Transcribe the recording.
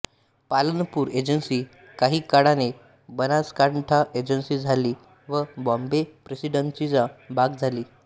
Palanpur agency काही काळाने Banaskantha agency झाली व बॉम्बे प्रेसिडेन्सीचा भाग झाली